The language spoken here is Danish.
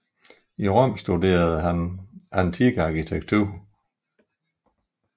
I Rom studerede han antik arkitektur